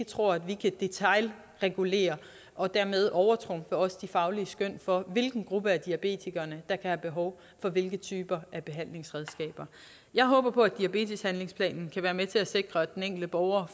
tro at vi kan detailregulere og dermed overtrumfe også de faglige skøn for hvilken gruppe diabetikere der have behov for hvilke typer behandlingsredskaber jeg håber på at diabeteshandlingsplanen kan være med til at sikre at den enkelte borger